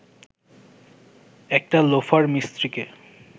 একটা লোফার মিস্ত্রিকে